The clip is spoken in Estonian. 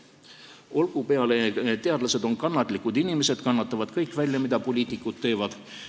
Olgu peale, teadlased on kannatlikud inimesed, kannatavad kõik välja, mida poliitikud teevad.